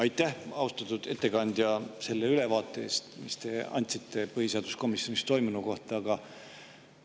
Aitäh, austatud ettekandja, selle ülevaate eest, mille te andsite põhiseaduskomisjonis toimunu kohta!